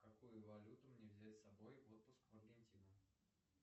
какую валюту мне взять с собой в отпуск в аргентину